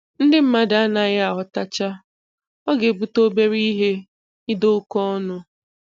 Ndị mmadụ anaghị aghọtacha: Ọ ga-ebute obere ihe ịda oke ọnụ.